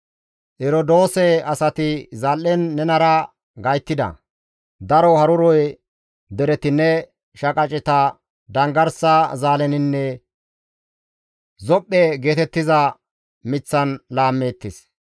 «Erodoose asati zal7en nenara gayttida; daro haruro dereti ne shaqaceta danggarsa zaaleninne Zophe geetettiza miththan laammeettes.